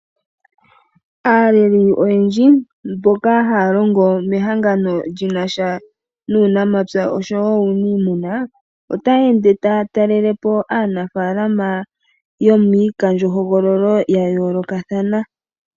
Aaleli oyendji mboka haya longo mehangano lyinasha nuunamapya osho wo uuniimuna otaya ende taya talelepo aanafaalama yo miikandjohogololo ya yoolokathana.